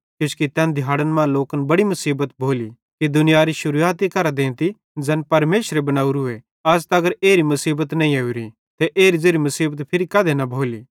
किजोकि तैन दिहाड़न मां लोकन बड़ी मुसीबत भोली कि दुनितयारी शुरुआती केरां देंती ज़ैन परमेशरे बनोरीए अज़ तगर एरी मुसीबत नईं ओरी ते एरी ज़ेरी मुसीबत फिरी कधी न भोली